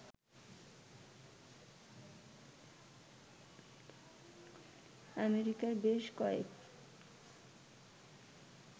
আমেরিকার বেশ কয়েক